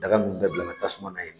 Daga ninnu bɛɛ bila ka tasuma na ye